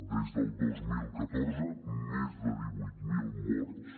des del dos mil catorze més de divuit mil morts